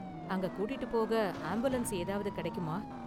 அங்க கூட்டிட்டுப் போக ஆம்புலன்ஸ் ஏதாவது கிடைக்குமா?